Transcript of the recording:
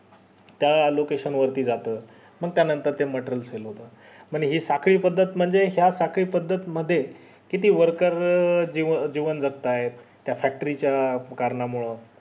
त्या location वरती जातो पण त्या नंतर ते material fail होत हि साखळी पद्दत म्हणजे या साखळी पद्दत मध्ये किती worker जीवन जागत्यात त्या factory च्या कारणा मूळ